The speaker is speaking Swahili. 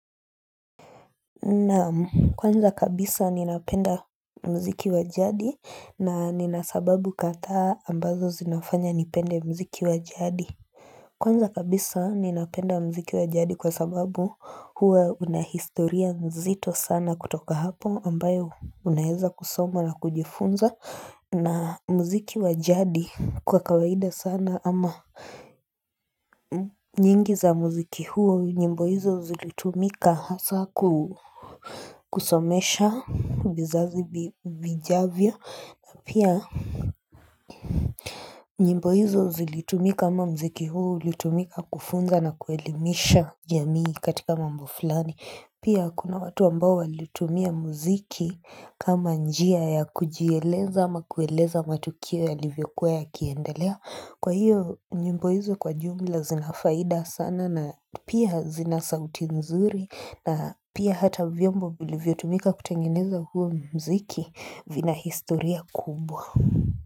Naam kwanza kabisa ninapenda mziki wajadi na nina sababu kadhaa ambazo zinafanya nipende mziki wajadi Kwanza kabisa ninapenda mziki wa jadi kwa sababu huwa unahistoria nzito sana kutoka hapo ambayo unaeza kusoma na kujifunza na muziki wajadi kwa kawaida sana ama nyingi za muziki huo nyimbo hizo zilitumika hasa kusomesha vizazi vijavyo pia nyimbo hizo zilitumika ama muziki huo Ulitumika kufunza na kuelimisha jamii katika mambo fulani Pia kuna watu ambao walitumia muziki kama njia ya kujieleza ama kueleza matukio ya livyokuwa ya kiendelea. Kwa hiyo, nyimbo hizo kwa jumla zinafaida sana na pia zina sauti nzuri. Na pia hata vyombo vilivyotumika kutengeneza huo mziki vina historia kubwa.